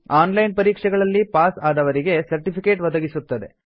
on line ಪರೀಕ್ಷೆಗಳಲ್ಲಿ pass ಆದವರಿಗೆ certificate ಒದಗಿಸುತ್ತದೆ